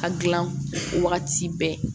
A gilan o wagati bɛɛ